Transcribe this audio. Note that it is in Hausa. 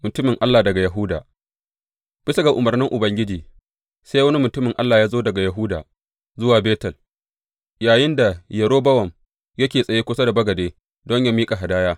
Mutumin Allah daga Yahuda Bisa ga umarnin Ubangiji, sai wani mutumin Allah ya zo daga Yahuda zuwa Betel, yayinda Yerobowam yake tsaye kusa da bagade don yă miƙa hadaya.